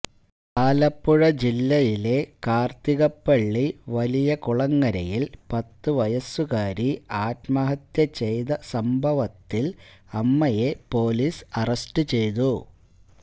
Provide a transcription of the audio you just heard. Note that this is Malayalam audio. ആലപ്പുഴ ജില്ലയിലെ കാര്ത്തികപ്പള്ളി വലിയ കുളങ്ങരയില് പത്തുവയസ്സുകാരി ആത്മഹത്യ ചെയ്ത സംഭവത്തില് അമ്മയെ പോലീസ് അരസ്റ്റ് ചെയ്തു